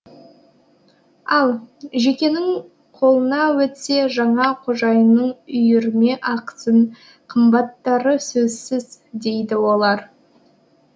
ал жекенің қолына өтсе жаңа қожайынның үйірме ақысын қымбаттатары сөзсіз дейді олар